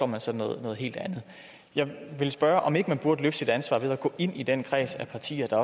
man så noget helt andet jeg vil spørge om ikke man burde løfte sit ansvar ved at gå ind i den kreds af partier der